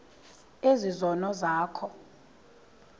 ezi zono zakho